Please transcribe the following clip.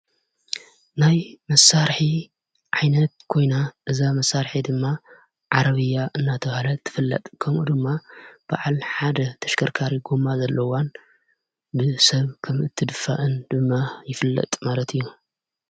ናይ መሣርሒ ዓይነት ኮይና እዛ መሣርሒ ድማ ዓረብያ እናተበሃለት ትፍለጥ ከምኡ ድማ ብዓል ሓደ ተሽከርካሪ ጐማ ዘለዋን ብ ሰብ ከም እትድፋአን ድማ ይፍለጥ ማለት እዩ።